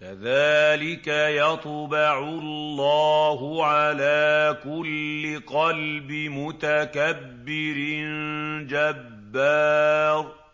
كَذَٰلِكَ يَطْبَعُ اللَّهُ عَلَىٰ كُلِّ قَلْبِ مُتَكَبِّرٍ جَبَّارٍ